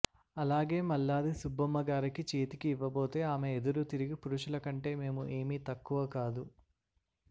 అలాగే మల్లాది సుబ్బమ్మగారికి చేతికి ఇవ్వబోతే ఆమె ఎదురు తిరిగి పురుషులకంటే మేము ఏమీ తక్కువ కాదు